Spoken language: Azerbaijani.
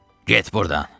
Get burdan.